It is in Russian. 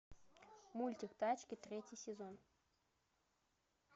мультик тачки третий сезон